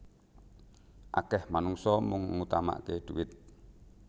Akeh manungsa mung ngutamakke dhuwit